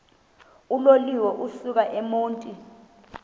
uloliwe ukusuk emontini